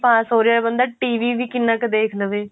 ਪਾਸ ਹੋ ਰਿਹਾ ਬੰਦਾ TV ਵੀ ਕਿੰਨਾ ਕ ਦੇਖ ਲਵੇ